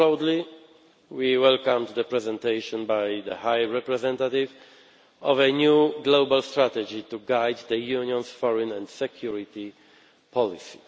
More broadly, we welcomed the presentation by the High Representative of a new global strategy to guide the Union's foreign and security policy.